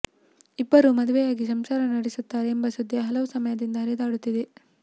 ಇಬ್ಬರೂ ಮದುವೆಯಾಗಿ ಸಂಸಾರ ನಡೆಸುತ್ತಾರೆ ಎಂಬ ಸುದ್ದಿ ಹಲವು ಸಮಯದಿಂದ ಹರಿದಾಡುತ್ತಿದೆ